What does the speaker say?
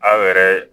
Aw yɛrɛ